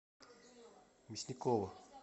мясникова